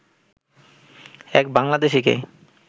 এক বাংলাদেশিকে